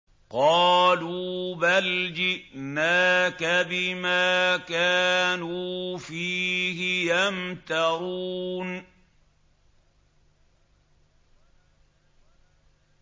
قَالُوا بَلْ جِئْنَاكَ بِمَا كَانُوا فِيهِ يَمْتَرُونَ